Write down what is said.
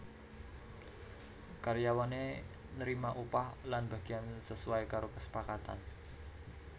Karyawane nrima upah lan bagiyan sesuai karo kesepakatan